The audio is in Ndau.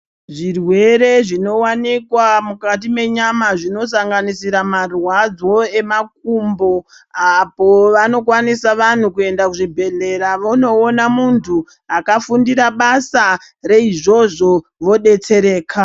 Zvirwere zvinowanikwa mukati mwenyama zvinosanganisira marwadzo emakumbo apo vanokwanisa vanhu kuenda kuzvibhedhlera vonoona muntu akafundira basa reizvozvo vodetsereka.